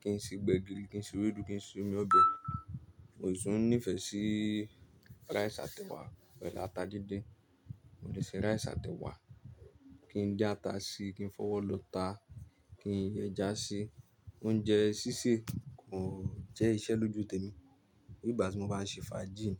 kí n ṣe gbẹ̀gìrì, kí n se ewédú, kí n se omi ọbẹ̀. Mo sì ń nífẹ̀ẹ́ sí rice àti ẹwà, pẹ̀lú ata dídín. Mo lè ṣe rice àti ẹwà, kí n dín ata síi, kí n fọwọ́ lọ́ta, kí n yẹ ẹja sí i. Oúnjẹ sísè kò jẹ́ iṣẹ́ lójú tèmi Bí ígbà tí mo bá ń ṣe fajíì ní.